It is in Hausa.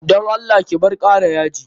Dan Allah ki bar kara yaji.